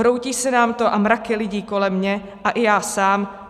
Hroutí se nám to a mraky lidí kolem mě a i já sám.